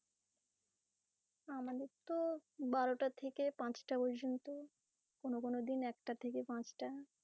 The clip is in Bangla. আমাদের তো বারোটা থেকে পাঁচটা পর্যন্ত. কোনও কোনও দিন একটা থেকে পাঁচটা।